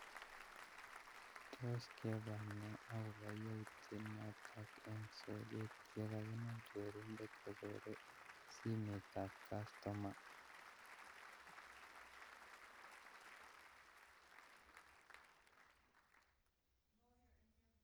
Tos kebwat nee akobo yautiet noto eng soket yekakinam chorindet kochore simetab kastoma